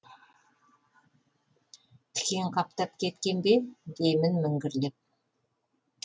тікен қаптап кеткен бе деймін міңгірлеп